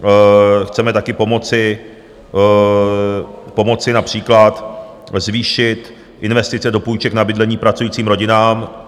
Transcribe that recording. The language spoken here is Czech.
Chceme také pomoci například zvýšit investice do půjček na bydlení pracujícím rodinám.